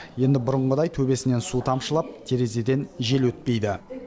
енді бұрынғыдай төбесінен су тамшылап терезеден жел өтпейді